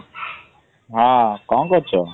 ହଁ କଣ କରୁଚ?